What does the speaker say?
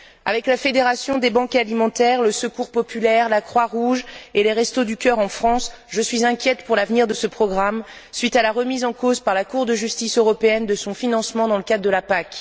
Avec la fédération des banques alimentaires, le secours populaire, la Croix Rouge et les restos du cœur en France, je suis inquiète pour l'avenir de ce programme suite à la remise en cause par la Cour de justice européenne de son financement dans le cadre de la PAC.